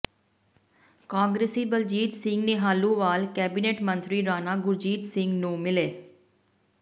ਕਾਂਗਰਸੀ ਬਲਜੀਤ ਸਿੰਘ ਨਿਹਾਲੂਵਾਲ ਕੈਬਨਿਟ ਮੰਤਰੀ ਰਾਣਾ ਗੁਰਜੀਤ ਸਿੰਘ ਨੂੰ ਮਿਲੇ